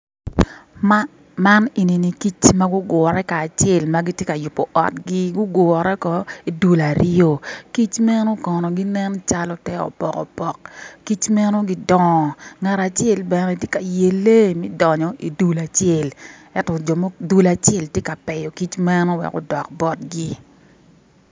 Man eni ni kic ma gugure kacel ma giti ka yubo otgi gugure kono i dul aryo ki meno kono ginen calo te opok opok kic meno ngat acel bene tye ka yele me donyo i dul acel ento dul acel tye ka pyeyo kic meno wek odok botgi.